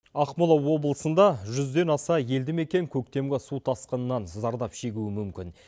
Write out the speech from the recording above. ақмола облысында жүзден аса елді мекен көктемгі су тасқынына зардап шегуі мүмкін